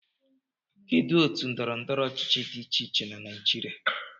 Kedu otu ndọrọ ndọrọ ọchịchị dị iche iche na Naijiria